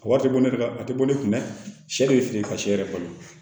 A wari tɛ bɔ ne ka a tɛ bɔ ne kun dɛ sɛ bɛ feere ka sɛ yɛrɛ balo